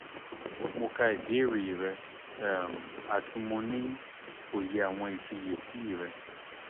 mo ka ibeere rẹ um ati mo ni oye awọn ifiyesi rẹ